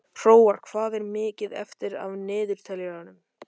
Hróar, hvað er mikið eftir af niðurteljaranum?